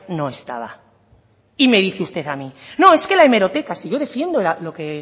no estaba y me dice usted a mí no es que la hemeroteca si yo defiendo lo que